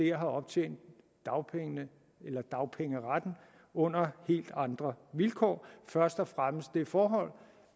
har optjent dagpengeretten under helt andre vilkår først og fremmest det forhold